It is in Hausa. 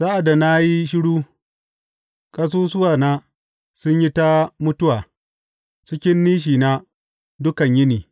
Sa’ad da na yi shiru, ƙasusuwana sun yi ta mutuwa cikin nishina dukan yini.